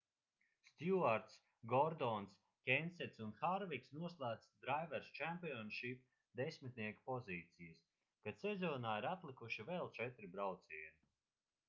stjuarts gordons kensets un harviks noslēdz drivers' championship desmitnieka pozīcijas kad sezonā ir atlikuši vēl četri braucieni